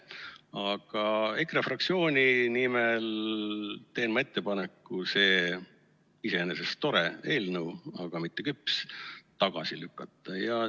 Aga EKRE fraktsiooni nimel teen ma ettepaneku see iseenesest tore, aga mitte küps eelnõu tagasi lükata.